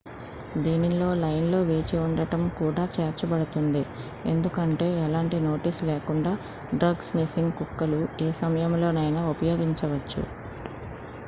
దీనిలో లైన్ లో వేచి ఉండటం కూడా చేర్చబడుతుంది ఎందుకంటే ఎలాంటి నోటీస్ లేకుండా డ్రగ్-స్నిఫింగ్ కుక్కలు ఏ సమయంలోనైనా ఉపయోగించవచ్చు